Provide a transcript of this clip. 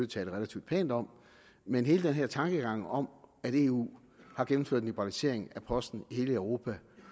tale relativt pænt om men hele denne tankegang om at eu har gennemført en liberalisering af posten i hele europa